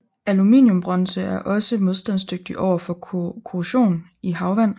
Aluminiumbronze er også modstandsdygtig overfor korrosion i havvand